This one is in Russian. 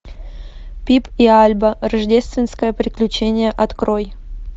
пип и альба рождественское приключение открой